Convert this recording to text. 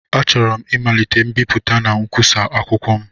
Achọrọ m ịmalite mbipụta na nkwusa akwụkwọ m